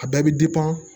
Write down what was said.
A bɛɛ bɛ